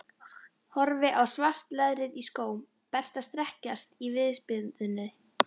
Horfi á svart leðrið í skóm Berta strekkjast í viðspyrnunni.